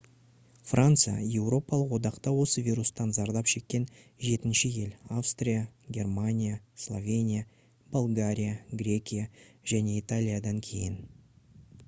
франция еуропалық одақта осы вирустан зардап шеккен жетінші ел австрия германия словения болгария грекия және италиядан кейін